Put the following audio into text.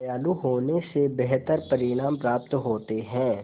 दयालु होने से बेहतर परिणाम प्राप्त होते हैं